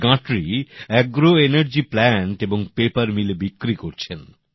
এই গাঁটরি agro energy plant এবং পেপার মিলে বিক্রি করছেন